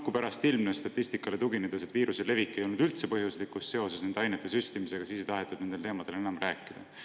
Kui pärast ilmnes statistikale tuginedes, et viiruse levik ei olnud üldse põhjuslikus seoses nende ainete süstimisega, siis ei tahetud nendel teemadel enam rääkida.